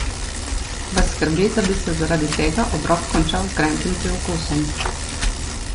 Vas skrbi, da bi se zaradi tega obrok končal z grenkim priokusom?